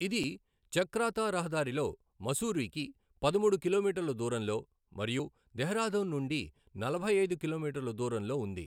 ఇది చక్రాతా రహదారిలో ముస్సూరీకి పదమూడు కిలోమీటర్ల దూరంలో మరియు డెహ్రాడూన్ నుండి నలభై ఐదు కిలోమీటర్ల దూరంలో ఉంది.